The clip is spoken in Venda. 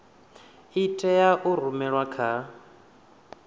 i tea u rumelwa kha